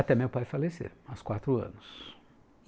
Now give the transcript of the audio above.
Até meu pai falecer, aos quatro anos.